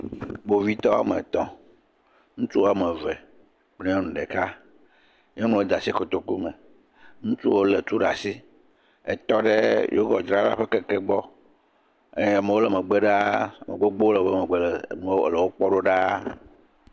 Kpovitɔ wo ame etɔ̃. Ŋutsu wo ame eve, nyɔnu ɖeka. Nyɔnua de asi kotoklu me. Ŋutsuwo le tu ɖe asi etɔ ɖe yogɔtidzrala ƒe keke gbɔ eye amewo le megbe ɖaa. Ame gbogbo aɖewo le woƒe megbe le wokpɔm ɖo ɖa.